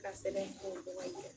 I Ka sɛbɛn furaw ka yira